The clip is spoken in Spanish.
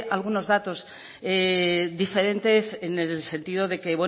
algunos datos diferentes en el sentido de que